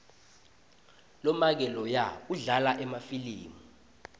lomake loya udlala emafilimu